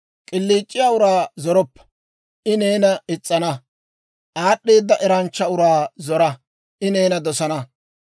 K'iliic'iyaa uraa zoroppa; I neena is's'ana. Aad'd'eeda eranchcha uraa zora; I neena dosana.